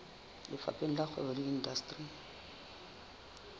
lefapheng la kgwebo le indasteri